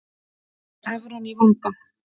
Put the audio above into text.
Evran í vanda